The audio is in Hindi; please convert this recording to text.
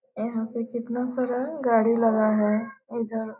यहाँ पे कितना सारा गाड़ी लगा है इधर --